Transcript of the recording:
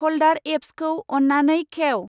फलदार एप्पसखौ अन्नानै खेव।